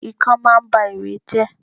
Ikán máa ń ba ìwé jẹ́.